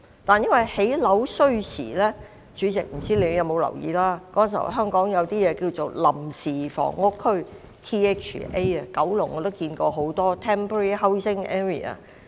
但是，由於建屋需時——主席，不知你有沒有留意到——當時香港設有一些臨時房屋區，我知道九龍有很多。